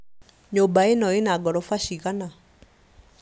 Nyũmba ĩno ĩna ngoroba cigana